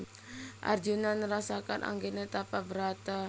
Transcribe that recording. Arjuna nerasaken anggene tapa brata